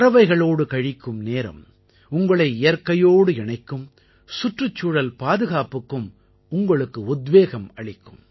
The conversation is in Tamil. பறவைகளோடு கழிக்கும் நேரம் உங்களை இயற்கையோடு இணைக்கும் சுற்றுச்சூழல் பாதுகாப்புக்கும் உங்களுக்கு உத்வேகம் அளிக்கும்